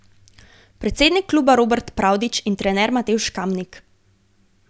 Predsednik kluba Robert Pravdič in trener Matevž Kamnik.